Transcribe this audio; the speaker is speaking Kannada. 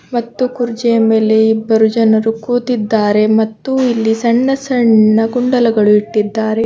ಮತ್ತು ಕುರ್ಚಿಯ ಮೇಲೆ ಇಬ್ಬರು ಜನರು ಕೂತಿದ್ದಾರೆ ಮತ್ತು ಇಲ್ಲಿ ಸಣ್ಣ ಸಣ್ಣ ಕುಂಡಲಗಳು ಇಟ್ಟಿದ್ದಾರೆ.